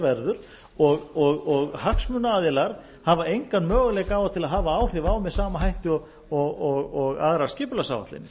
er séð verður og hagsmunaaðilar hafa engan möguleika á að hafa áhrif á með sama hætti og aðrar skipulagsáætlanir